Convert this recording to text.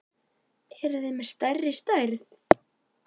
Eruð þið með stærri stærð?